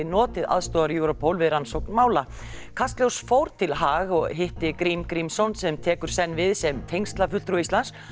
notið aðstoðar Europol við rannsókn mála kastljós fór til Haag og hitti Grím Grímsson sem tekur senn við sem tengslafulltrúi Íslands